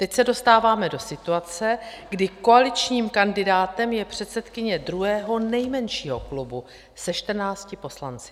Teď se dostáváme do situace, kdy koaličním kandidátem je předsedkyně druhého nejmenšího klubu se 14 poslanci.